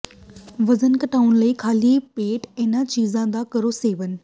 ਵਜ਼ਨ ਘਟਾਉਣ ਲਈ ਖਾਲੀ ਪੇਟ ਇਹਨਾਂ ਚੀਜ਼ਾਂ ਦਾ ਕਰੋ ਸੇਵਨ